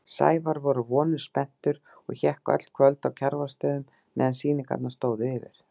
Sævar var að vonum spenntur og hékk öll kvöld á Kjarvalsstöðum meðan sýningarnar stóðu yfir.